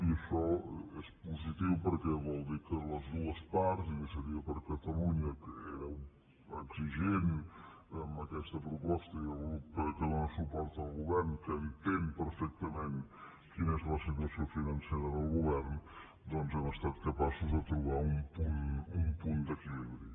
i això és positiu perquè vol dir que les dues parts iniciativa per catalunya que era exigent amb aquesta proposta i el grup que dóna suport al govern que entén perfectament quina és la situació financera del govern doncs hem estat capaços de trobar un punt d’equilibri